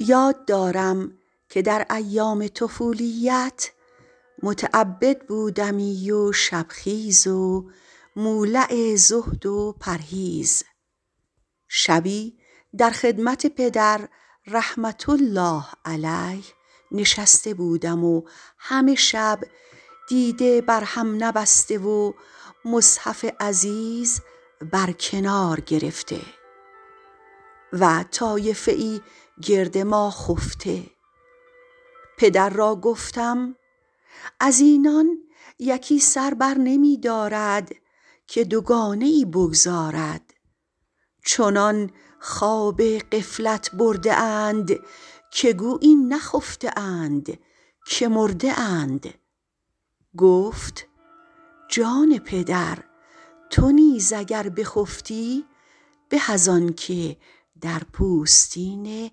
یاد دارم که در ایام طفولیت متعبد بودمی و شب خیز و مولع زهد و پرهیز شبی در خدمت پدر رحمة الله علیه نشسته بودم و همه شب دیده بر هم نبسته و مصحف عزیز بر کنار گرفته و طایفه ای گرد ما خفته پدر را گفتم از اینان یکی سر بر نمی دارد که دوگانه ای بگزارد چنان خواب غفلت برده اند که گویی نخفته اند که مرده اند گفت جان پدر تو نیز اگر بخفتی به از آن که در پوستین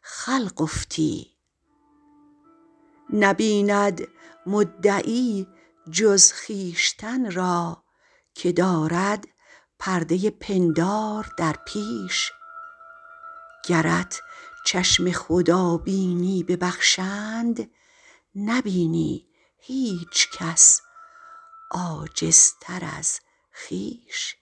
خلق افتی نبیند مدعی جز خویشتن را که دارد پرده پندار در پیش گرت چشم خدا بینی ببخشند نبینی هیچ کس عاجزتر از خویش